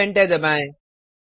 अब एंटर दबाएँ